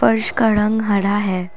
फर्श का रंग हरा है।